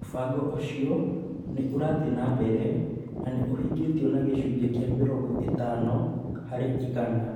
Mũbango ũcio nĩ ũrathiĩ na mbere na nĩ ũhingĩtwo na gĩcunjĩ kĩa mĩrongo ĩtano harĩ igana.